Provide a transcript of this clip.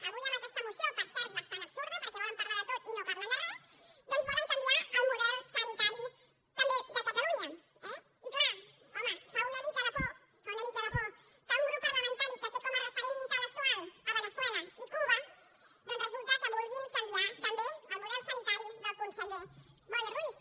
avui amb aquesta moció per cert bastant absurda perquè volen parlar de tot i no parlen de re doncs volen canviar el model sanitari també de catalunya eh i clar home fa una mica de por fa una mica de por que un grup parlamentari que té com a referent intel·gui canviar també el model sanitari del conseller boi ruiz